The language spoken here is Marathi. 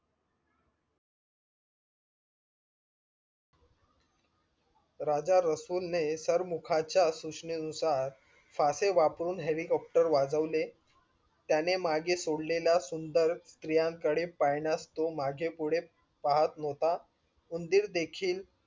राजा रसूल ने चारमुखाच्या सूचनेनुसार साचे वापरून helicopter वाजवले त्याने मागे सोडलेला सुंदर स्त्रियांकडे पाहाण्यास तो मागे पुढे पाहत न्हवता उंदीर देखील